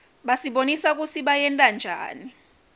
basibonisa kutsi bayentanjani